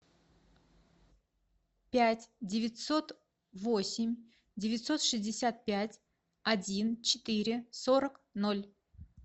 пять девятьсот восемь девятьсот шестьдесят пять один четыре сорок ноль